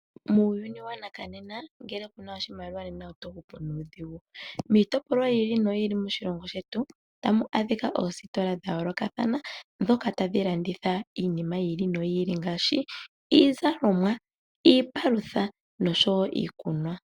Muuyuni wongaashingeyi uuna kuu na oshimaliwa oto hupu nuudhigu. Miitopolwa ya yooloka moshilongo shetu ota mu adhika oositola dha yoolokathana ndhoka tadhi landitha iinima ya yooloka ngaashi iizalomwa, iipalutha noshowo iikunwa.